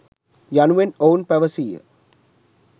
යනුවෙන් ඔවුන් පැවසීය.